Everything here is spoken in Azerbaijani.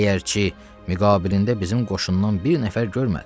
Əgərçi müqabilində bizim qoşundan bir nəfər görmədi.